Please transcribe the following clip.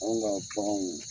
Anw ka baganw.